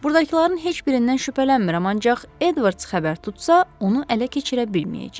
Burdakıların heç birindən şübhələnmirəm, ancaq Edvards xəbər tutsa, onu ələ keçirə bilməyəcəyik.